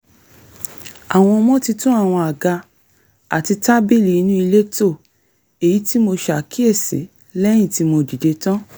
àwọn ọmọ ti tún àwọn àga àti tábílì inú ilé tò èyí tí mo ṣàkíyèsí lẹ́yìn tí mo dìde tán